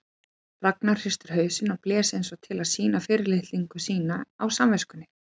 Ragnar hristi hausinn og blés eins og til að sýna fyrirlitningu sína á samviskunni.